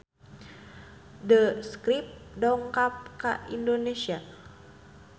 The Script dongkap ka Indonesia